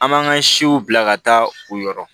An m'an ka siw bila ka taa u yɔrɔ